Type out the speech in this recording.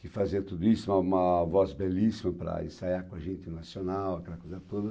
que fazia tudo isso, uma voz belíssima para ensaiar com a gente no Nacional, aquela coisa toda.